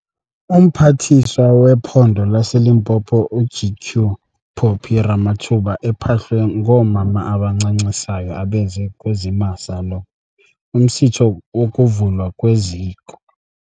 UMphathiswa wePhondo laseLimpopo uGq Phophi Ramathuba ephahlwe ngoomama abancancisayo abeze kuzimasa lo umsitho wokuvulwa kweziko.